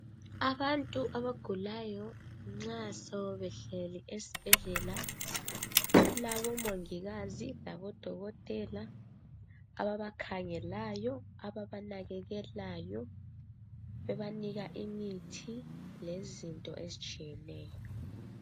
Abantu abagulayo nxa sebehleli esibhedlela kulabomongimazi labodokotela ababakhangelayo , ababanakekelayo bebanika imithi lezinto ezitshiyeneyo.